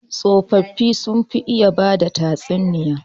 Tsofaffi sun fi iya bada tatsuniya.